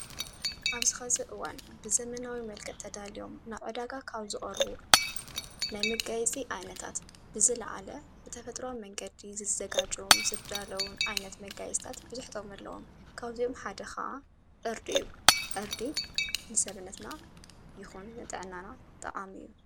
ኣብ ዝ ኸ ዝእወን ብዘመናዊ መልከ ተዳልዮም ናዕዳጋ ካውዝዕርቡ ላይ መጋይጺ ኣይነታት ብዝ ለዓለ ብተፈጥራ መንገዲ ዘዘጋጅዉን ዘዳለን ኣይነት መጋይታት ብዙኅጠውመለዎም ካውዚኡም ሓደኸዓ ዕርድእዩ ዕርዲ ንሰብነትና ይኹን ነጠዕናና ጠቃሚ እዩ።